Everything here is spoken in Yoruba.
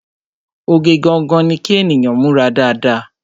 Oge gangan ni kí ènìyàn múra dáadáa